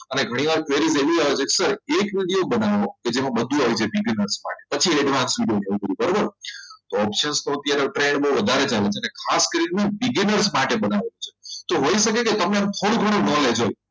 અને ઘણીવાર બનવાનું કે જેમાં બધું આવી જશે પછી એનું બરોબર કે જેમાં બધું આવી જાય પછી advanced video બનાવવાનુ બરાબર તો option અત્યારે વપરાયેલો વધારે ચાલે છે ખાસ કરીને તો voice ઘણો ઘણો knowledge હોય